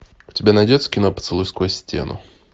у тебя найдется кино поцелуй сквозь стену